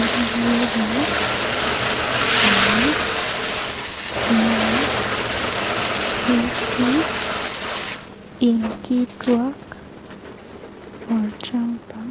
Iyiolo tene naa ketii inkituak, olchamba